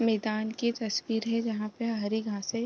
मैदान की तस्वीर है जहां पे हरी घांस है।